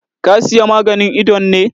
Ka Siya maganin idon ne?